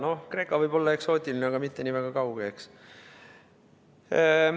Jaa, Kreeka võib olla eksootiline, aga mitte nii väga kauge, eks.